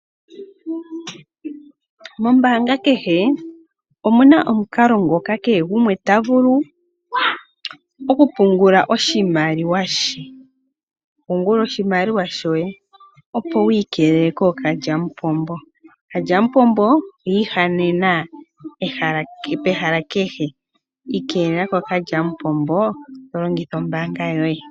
Mombaanga kehe omuna omukalo ngoka kehe gumwe tavulu okupungula oshimaliwa she. Pungula oshimaliwa shoye opo wu ikelele kokalyamupombo, okalyamupombo oyiihanena pehala kehe ikelela kokalyamupombo longitha ombaanga yoye.